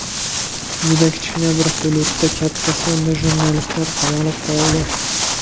Juda kichkina bir hududda katta sonda jurnalistlar qamalib qoldi.